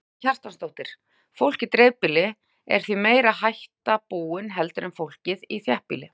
Karen Kjartansdóttir: Fólk í dreifbýli, er því meiri hætta búin heldur en fólkið í þéttbýli?